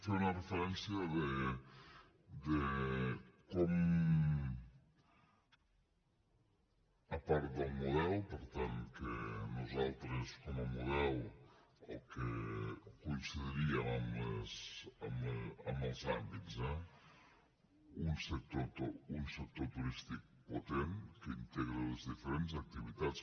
feia una referència de com a part del model per tant que nosaltres com a model el que coincidiríem amb els àmbits eh un sector turístic potent que integra les diferents activitats